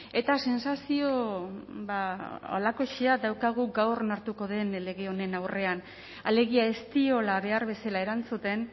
eta sentsazio ba halakoxea daukagu gaur onartuko den lege honen aurrean alegia ez diola behar bezala erantzuten